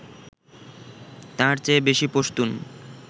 তাঁর চেয়ে বেশি পশতুন